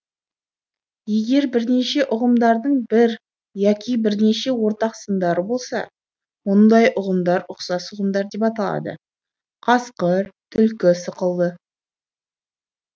егер бірнеше ұғымдардың бір яки бірнеше ортақ сындары болса мұңдай ұғымдар ұқсас ұғымдар деп аталады қасқыр түлкі сықылды